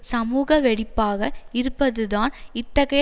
சமூக வெடிப்பாக இருப்பதுதான் இத்தகைய